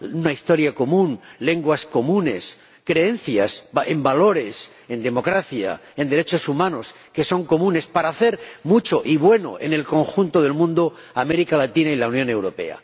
una historia común, lenguas comunes y creencias en valores, en democracia, en derechos humanos que son comunes— para hacer mucho y bueno en el conjunto del mundo América Latina y la Unión Europea.